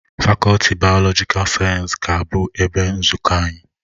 Fakọlti bayolojikal sayensị ga-abụ ebe nzukọ anyị